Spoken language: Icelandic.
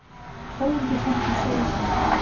Þórhildi finnst hún segja satt.